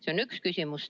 See on üks küsimus.